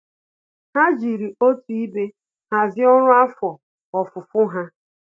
Há jìrì òtù ibe hàzị́e ọ́rụ́ afọ ofufo ha.